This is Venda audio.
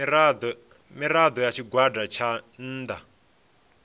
mirado ya tshigwada tsha nnda